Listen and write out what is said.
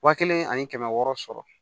Wa kelen ani kɛmɛ wɔɔrɔ sɔrɔ